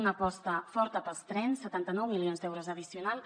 una aposta forta pels trens setanta nou milions d’euros addicionals